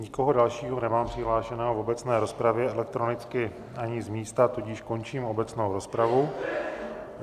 Nikoho dalšího nemám přihlášeného v obecné rozpravě elektronicky ani z místa, tudíž končím obecnou rozpravu.